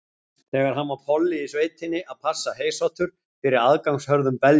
Þegar hann var polli í sveitinni að passa heysátur fyrir aðgangshörðum beljum.